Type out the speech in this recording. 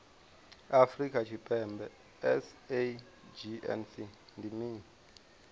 afrika tshipembe sagnc ndi mini